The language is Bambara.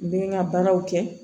N bɛ n ka baaraw kɛ